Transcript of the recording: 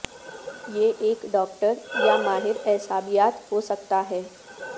یہ ایک ڈاکٹر یا ماہر اعصابیات ہو سکتا ہے